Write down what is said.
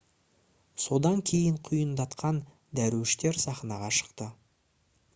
содан кейін құйындатқан дәруіштер сахнаға шықты